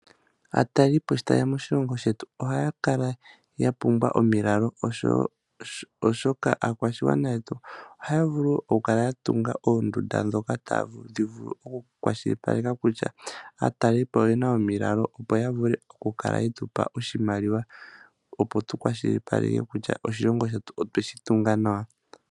Aatalelipo sho taye ya moshilongo shetu ohaya kala ya pumbwa omilalo, oshoka aakwashigwana yetu ohaya vulu okukala ya tunga oondunda ndhoka tadhi okukwashilipaleka kutya aatalelipo oye na omilalo, opo ya vule okukala ye tu pa iimaliwa tu vule okukwashilipaleka kutya oshilongo otwe shi tunga nawa.